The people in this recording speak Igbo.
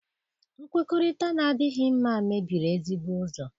Nkwukọrịta na-adịghị mma mebiri ezigbo ụzọ.